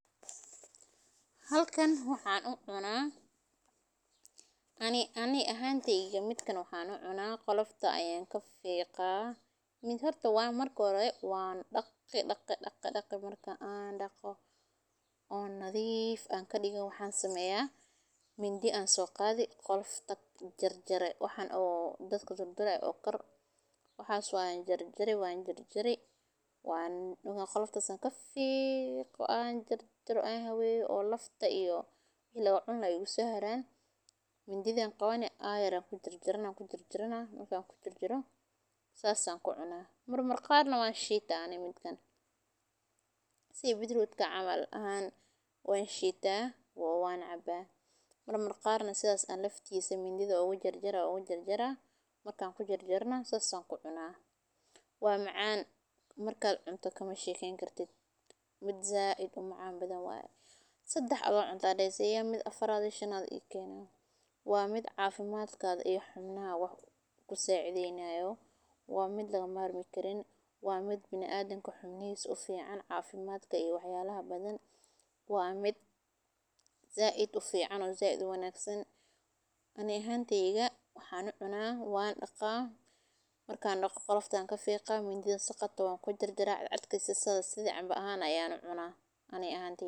Halkan waxan u cuna ani ahanteyda midak mahan u cuna. Qoiofta ayan kafiqa oo marka hore wan dhaqi, dhaqi, dhaqi amrka an dhaqo nadif an kadigo waxan sameya midhi aan so qadii waxan oo qolofta oo kor, waxas waan jarjari ,wan jarjari markan qoloftas an kafiqo an habeyo oo si locuno igu soo haraan mididha an qawani ayaar an cune sas an kucuna marmar qarna wan shitaa midkan ,sidha betrutka camal ,marmarna sidhas an mididha ugu jarjari sas an kucuna waa macan markad cunto kamasheken kartid ,wax zaid u macan waye sedex adigo cunte aa dahesa mid afaraad yaa ii kena ,waa mid cafimadkaga iyo hubnaga wax kusacideynaya waa mid laga marmi karin. Waa mid biniadamka iyo hubnisa u fican waa mid zaid u fican oo zaid u wanagsan ani ahanteyda waxan u cuna waan daqaa oo qolofta an kafiqa mididhan ku jarjara ,asago sidha canba ahan ah ayan u cuna ani ahanteyda.